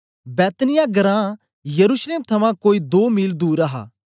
बैतनिय्याह घरां यरूशलेम थमां कोई दो मील दूर हा